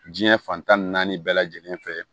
Diɲɛ fantan ni naani bɛɛ lajɛlen fɛ